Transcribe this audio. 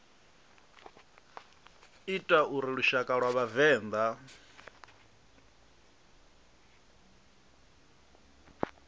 ita uri lushaka lwa vhavenḓa